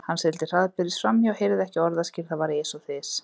Hann sigldi hraðbyri framhjá, heyrði ekki orðaskil, það var ys og þys.